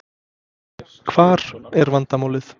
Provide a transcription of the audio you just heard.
Hvar er vandamálið?